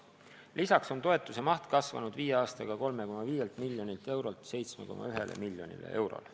Lisaks on toetuse maht kasvanud viie aastaga 3,5 miljonilt eurolt 7,1 miljoni euroni.